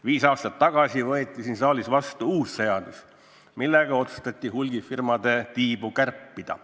Viis aastat tagasi võeti siin saalis vastu uus seadus, millega otsustati hulgimüügifirmade tiibu kärpida.